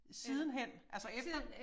Sidenhen altså efter?